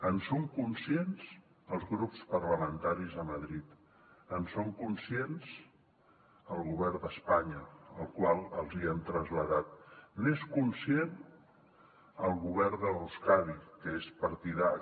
en són conscients els grups parlamentaris a madrid n’és conscient el govern d’espanya al qual l’hi hem traslladat n’és conscient el govern d’euskadi que és partidari